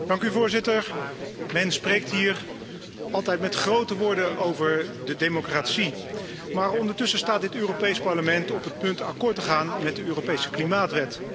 Voorzitter, men spreekt hier altijd met grote woorden over de democratie, maar ondertussen staat dit Europees Parlement op het punt akkoord te gaan met de Europese klimaatwet.